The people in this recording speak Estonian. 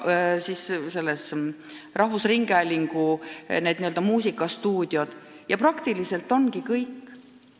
Veel on rahvusringhäälingus n-ö muusikastuudiod, ja praktiliselt ongi kõik.